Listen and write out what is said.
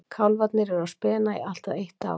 Kálfarnir eru á spena í allt að eitt ár.